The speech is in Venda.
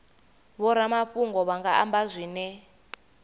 vhoramafhungo vha nga amba zwine